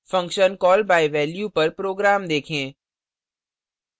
function call by value पर program देखें